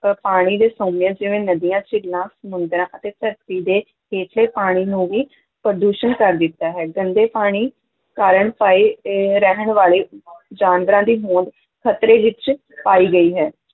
ਤੇ ਪਾਣੀ ਦੇ ਸੋਮਿਆਂ ਜਿਵੇਂ ਨਦੀਆਂ, ਝੀਲਾਂ, ਸਮੁੰਦਰਾਂ ਅਤੇ ਧਰਤੀ ਦੇ ਹੇਠਲੇ ਪਾਣੀ ਨੂੰ ਵੀ ਪ੍ਰਦੂਸ਼ਨ ਕਰ ਦਿੱਤਾ ਹੈ, ਗੰਦੇ ਪਾਣੀ ਕਾਰਨ ਪਾਏ ਅਹ ਰਹਿਣ ਵਾਲੇ ਜਾਨਵਰਾਂ ਦੀ ਹੋਂਦ ਖ਼ਤਰੇ ਵਿੱਚ ਪਾਈ ਗਈ ਹੈ।